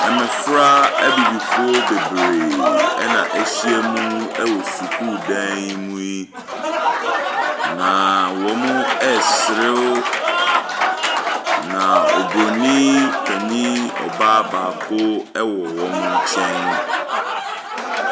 Mmɔfra abibifoɔ bebree na wɔhiam wɔ sukuu dan mu yi, na wɔresere, na oburani panin baa baako wɔ wɔn nkyɛn.